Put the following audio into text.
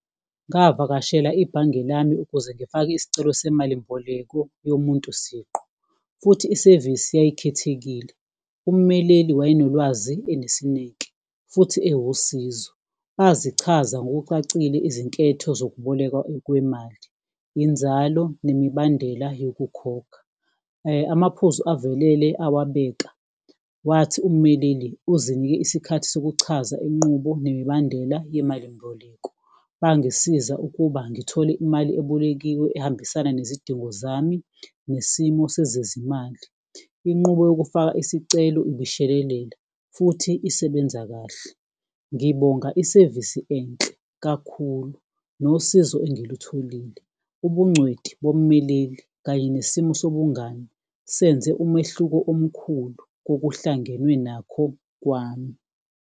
Ngavakashela ibhange lami ukuze ngifake isicelo semalimboleko yomuntu siqu, futhi isevisi yayikhethekile ummeleli waye nolwazi, enesineke futhi ewusizo, bazichaza ngokucacile izinketho zokubolekwa kwemali, inzalo nemibandela yokukhokha. Amaphuzu avelele owabeka wathi ummeleli uzinike isikhathi sokuchaza inqubo nemibandela yemalimboleko, bangisiza ukuba ngithole imali ebolekiwe ehambisana nezidingo zami nesimo sezezimali. Inqubo yokufaka isicelo ibishelelela futhi isebenza kahle, ngibonga isevisi enhle kakhulu nosizo engilutholile, ubungcweti bommeleli kanye nesimo sobungani senze umehluko omkhulu kokuhlangenwe nakho kwami.